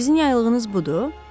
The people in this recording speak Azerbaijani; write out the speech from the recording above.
Sizin yaylığınız budur?